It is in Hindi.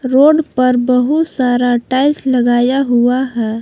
रोड पर बहुत सारा टाइल्स लगाया हुआ है।